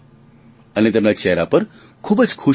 અને તેમના ચહેરા પર ખૂબ જ ખુશી હતી